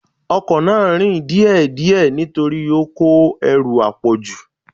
Ọkọ náà ń rìn díè díè nítorí ó kó ẹrù àpọ̀jù.